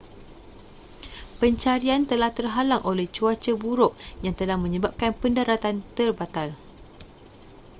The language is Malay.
pencarian telah terhalang oleh cuaca buruk yang telah menyebabkan pendaratan terbatal